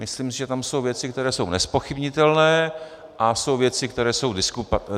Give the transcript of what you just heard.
Myslím si, že tam jsou věci, které jsou nezpochybnitelné, a jsou věci, které jsou diskutabilní.